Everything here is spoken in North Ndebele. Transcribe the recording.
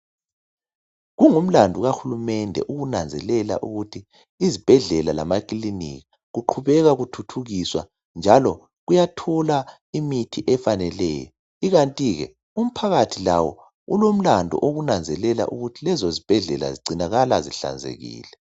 Kungumlandu kahulumende ukunanzelela ukuthi izibhedlela lamakilinika kuqhubeka kuthuthukiswa njalo kuyathola imithi efaneleyo ikantike umphakathi lawo ulomlandu wokunanzelela ukuthi lezo zibhedlela zigcinakala zihlanzekile.